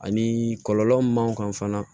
Ani kɔlɔlɔ mun b'an kan fana